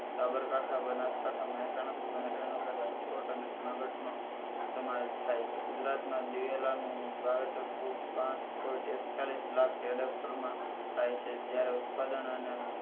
સાબરકાંઠા, બનાસકાંઠા, મહેસાણા, સુરેન્દ્રનગર, રાજકોટ, અને જુનનાગઢનો સમાવેસ થાય છે ગુજરાતમાં દિવેલાનું વાવેતર કુલ પાંચ point એકતાળીસ લાખ એડેકટરમાં થાય છે જ્યારે ઉત્પાદન અને